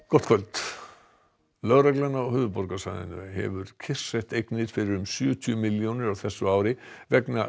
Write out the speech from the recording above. gott kvöld lögreglan á höfuðborgarsvæðinu hefur kyrrsett eignir fyrir sjötíu milljónir á þessu ári vegna